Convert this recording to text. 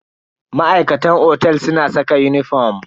Ma'aikatan otel suna saka uniform.